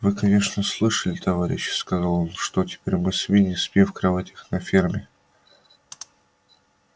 вы конечно слышали товарищи сказал он что теперь мы свиньи спим в кроватях на ферме